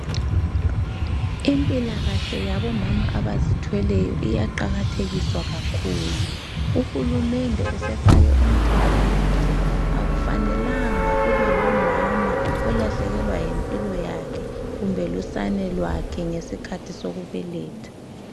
Impilakahle yabomama abazithweleyo iyaqakathekiswa kakhulu, uhulumende usefake umthetho wokuthi akufanelanga kube lomama olahlekelwa yimpilo yakhe kumbe lusana lwakhe ngesikhathi ebeletha.